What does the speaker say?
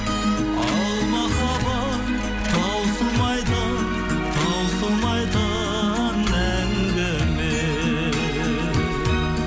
ал махаббат таусылмайтын таусылмайтын әңгіме